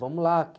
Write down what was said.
Vamos lá.